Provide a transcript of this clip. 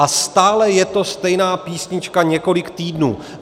A stále je to stejná písnička několik týdnů.